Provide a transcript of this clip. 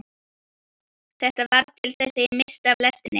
Þetta varð til þess að ég missti af lestinni.